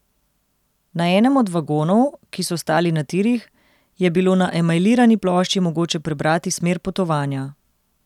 Na enem od vagonov, ki so ostali na tirih, je bilo na emajlirani plošči mogoče prebrati smer potovanja.